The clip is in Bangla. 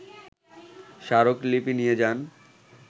স্মারকলিপি নিয়ে যান